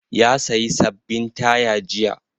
Ya sayi sababbin taya jiya.